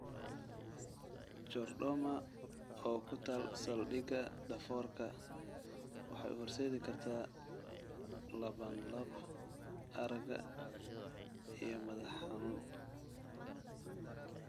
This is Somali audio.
Chordoma oo ku taal saldhigga dhafoorka waxay u horseedi kartaa labanlaab aragga iyo madax-xanuun.